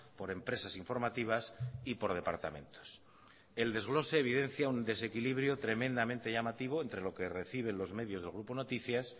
por empresas informativas y por departamentos el desglose evidencia un desequilibrio tremendamente llamativo entre lo que recibe los medios del grupo noticias